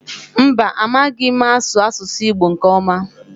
Mba, amaghị m asụ asụsụ Igbo nke ọma.